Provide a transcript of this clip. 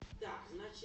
так значит